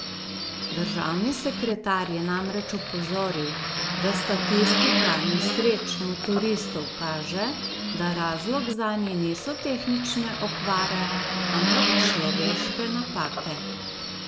Državni sekretar je namreč opozoril, da statistika nesreč motoristov kaže, da razlog zanje niso tehnične okvare, ampak človeške napake.